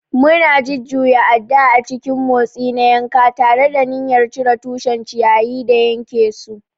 Muna jujjuya adda a cikin motsi na yanka, tare da niyyar cire tushen ciyayi da yanke su.